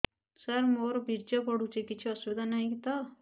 ସାର ମୋର ବୀର୍ଯ୍ୟ ପଡୁଛି କିଛି ଅସୁବିଧା ନାହିଁ ତ